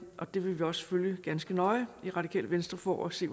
og det vil vi også følge ganske nøje i radikale venstre for at se